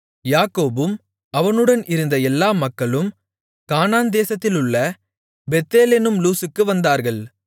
யாக்கோபும் அவனுடன் இருந்த எல்லா மக்களும் கானான் தேசத்திலுள்ள பெத்தேல் என்னும் லூஸுக்கு வந்தார்கள்